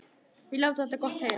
Við látum þetta gott heita.